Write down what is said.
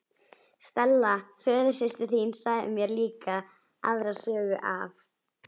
Stella föðursystir þín sagði mér líka aðra sögu af